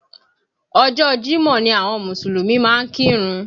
Ọjọ́ Jímọ̀ ni àwọn Mùsùlùmí máa ń kírun